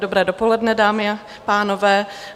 Dobré dopoledne, dámy a pánové.